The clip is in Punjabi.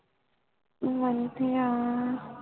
ਵੰਤਹਿਯਾ